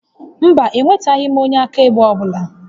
Mba, ewetaghị m onye akaebe ọ bụla